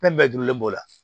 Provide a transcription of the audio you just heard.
Fɛn bɛɛ juru le b'o la